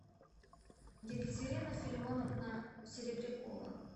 екатерина филимоновна серебрякова